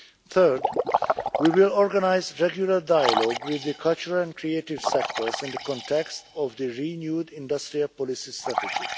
Third, we will organise regular dialogue with the cultural and creative sectors in the context of the renewed industrial policy strategy.